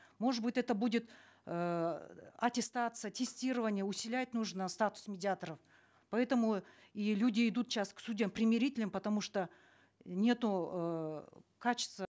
может быть это будет эээ аттестация тестирование нужно статус медиаторов поэтому и люди идут сейчас к судьям примирительным потому что нету эээ качества